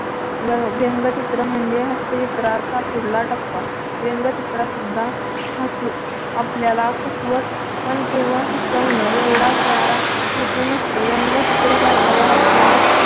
व्यंगचित्र म्हणजे हास्यचित्र असा पुढला टप्पा. व्यंगचित्र सुद्धा हसू आपल्याला हसवत पण केवळ हसवण एवढाच त्याचा हेतू नसतो. व्यंगचित्र पाहिल्यावर आपल्याला